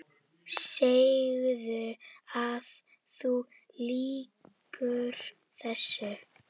Segðu að þú ljúgir þessu!